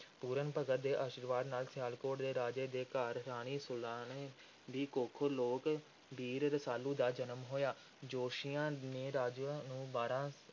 ਪੂਰਨ ਭਗਤ ਦੇ ਅਸ਼ੀਰਵਾਦ ਨਾਲ ਸਿਆਲਕੋਟ ਦੇ ਰਾਜੇ ਦੇ ਘਰ ਰਾਣੀ ਸੁਲਾਣੀ ਦੀ ਕੁੱਖੋਂ ਲੋਕ ਵੀਰ ਰਸਾਲੂ ਦਾ ਜਨਮ ਹੋਇਆ। ਜੋਤਸ਼ੀਆਂ ਨੇ ਰਾਜੇ ਨੂੰ ਬਾਰ੍ਹਾਂ